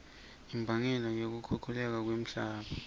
imbangela yekukhukhuleka kwemhlabatsi